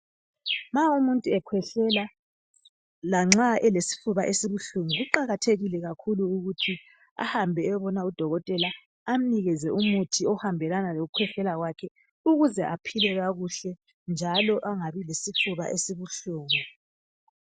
Nxa umuntu ekhwehlela lanxa elesifuba esibuhlungu kuqakathekile kakhulu ukuthi ahambe ayobona udokotela amnikeze umuthi ohambelana lokukhwehlela kwakhe ukuze aphile kakuhle njalo angabi lesifuba esibuhlungu.